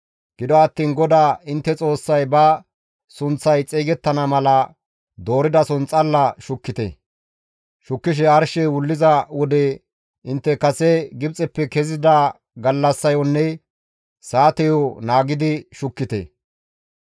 Gido attiin GODAA intte Xoossay ba sunththay xeygettana mala dooridason xalla shukkite; shukkishe arshey wulliza wode intte kase Gibxeppe kezida gallassayonne saateyo naagidi shukkite.